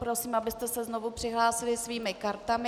Poprosím, abyste se znovu přihlásili svými kartami.